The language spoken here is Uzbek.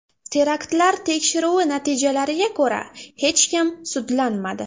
Teraktlar tekshiruvi natijalariga ko‘ra, hech kim sudlanmadi.